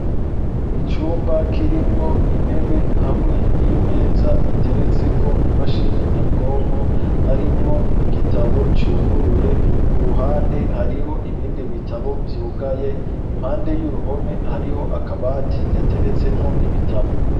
Icumba kirimwo intebe hamwe n'imeza iteretseko imashini nyabwonko harimwo n'igitabo cuguruye, ku ruhande hariho ibindi bitabo vyugaye, impande y'uruhome hariho akabati gateretsemwo ibitabo.